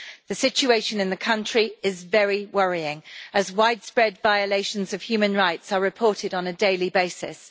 The situation in the country is very worrying, as widespread violations of human rights are reported on a daily basis.